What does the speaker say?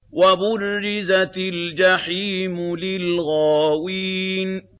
وَبُرِّزَتِ الْجَحِيمُ لِلْغَاوِينَ